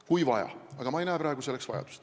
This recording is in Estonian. Kui vaja – aga ma ei näe praegu selleks vajadust.